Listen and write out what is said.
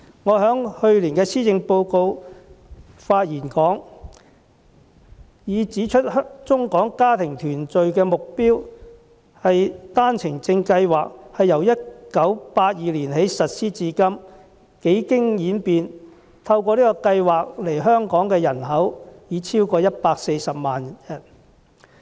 我在去年就施政報告的發言中，已指出幫助中港家庭團聚的單程證計劃，由1982年起實施至今，幾經演變，透過計劃來港的人口已超過140萬人。